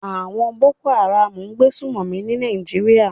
Àwon Boko Haram n gbé sùmòmí ní Naijiria